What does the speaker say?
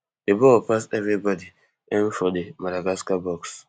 di ball pass everibodi en for di madagascar box